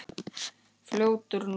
Fljótur nú!